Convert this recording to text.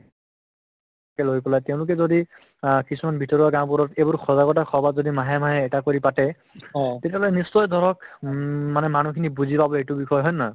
কে লৈ পেলাই তেওঁলোকে যদি আ কিছুমান ভিতৰুৱা গাঁওবোৰত এইবোৰ সজাগতা সভা যদি মাহে মাহে এটা কৰি পাতে তেতিয়াহলে নিশ্চয় ধৰক উম মানে মানুহখিনি বুজি পাব এইটো বিষয় হয়নে নহয়